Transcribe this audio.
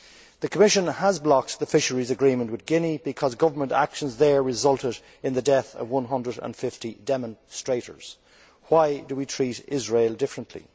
The Commission has blocked the fisheries agreement with Guinea because government actions there resulted in the death of 150 demonstrators. Why do we treat Israel differently?